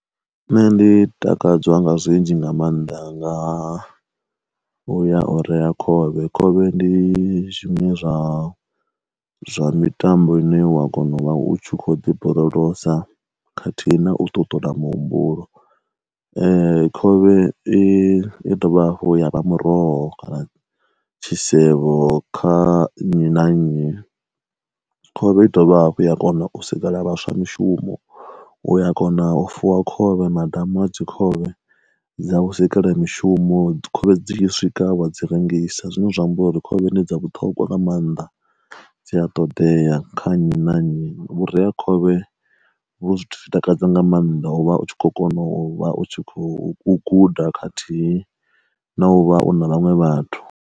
Nṋe ndi takadzwa nga zwinzhi nga maanḓa nga uya o rea khovhe khovhe ndi zwiṅwe zwa zwa mitambo ine wa kona u vha u tshi kho ḓi borolosa khathihi na u ṱuṱula muhumbulo. Khovhe i dovha hafhu ya vha muroho kana tshisevho kha nnyi na nnyi, khovhe a i dovha hafhu ya kona u sikela vhaswa mishumo, uya kona u fuwa khovhe madamu a dzi khovhe dza vhusekene mishumo khovhe dzi tshi swika wa dzi rengisa zwine zwa amba uri khovhe ndi dza vhuṱhogwa nga maanḓa dzi a ṱoḓea kha nnyi na nnyi, vhureakhovhe vho zwithu takadza nga maanḓa u vha u tshi kho kona u vha u tshi khou guda khathihi na u vha u na vhaṅwe vhathu.